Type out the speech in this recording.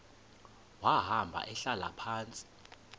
wahamba ehlala phantsi